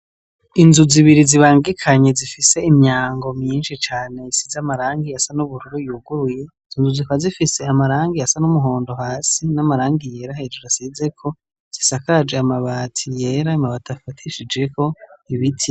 Inzu zibiri zibangikanye zifise Imyango myinshi cane risize amarangi asa nubururu zikaba zifise amabara asa numuhondo hasi namarangi hejuru asizeko zisakaje amabati yera amabati afatishijeko ibiti.